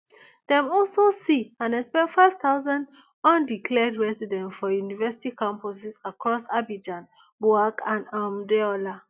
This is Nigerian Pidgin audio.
dem also see and expel five thousand undeclared residents for university campuses across abidjan bouak and um deola